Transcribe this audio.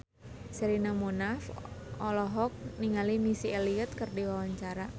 Sherina Munaf olohok ningali Missy Elliott keur diwawancara